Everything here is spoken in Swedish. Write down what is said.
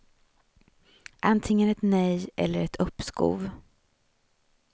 Antingen ett nej eller ett uppskov.